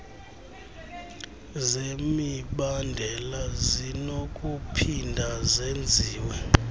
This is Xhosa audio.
zemibandela zinokuphinda zenziwe